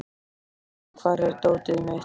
Gefn, hvar er dótið mitt?